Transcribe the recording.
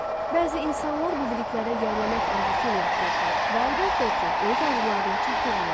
Bəzi insanlar bu biliklərə yiyələnmək arzusu ilə yaşayırdılar və əlbəttə ki, öz arzularına çatırdılar.